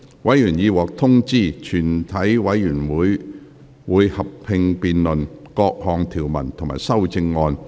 委員已獲通知，全體委員會會合併辯論各項條文及修正案。